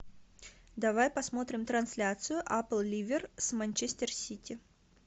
давай посмотрим трансляцию апл ливер с манчестер сити